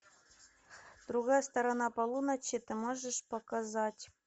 другая сторона полуночи ты можешь показать